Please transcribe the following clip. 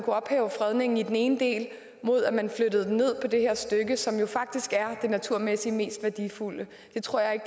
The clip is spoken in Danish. ophæve fredningen i den ene del mod at den blev flyttet ned på det her stykke som faktisk er det naturmæssigt mest værdifulde det tror jeg